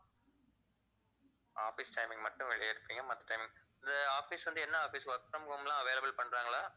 office timing மட்டும் வெளிய இருப்பிங்க மத்த timing இது office வந்து என்ன office work from home லா available பண்றங்களா